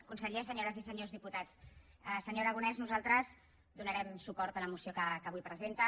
conseller senyores i senyors diputats senyor aragonès nosaltres donarem suport a la moció que avui presenta